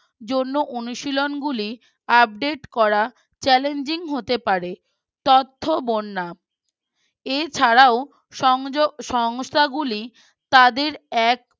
জন্য অনুশীলন গুলি Update করা Challanging হতে পারে তথ্য বর্ণা এছাড়াও সংযোগ সংস্থাগুলি তাদের এক